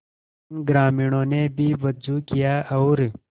इन ग्रामीणों ने भी वजू किया और